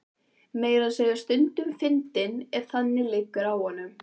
Meira að segja stundum fyndinn ef þannig liggur á honum.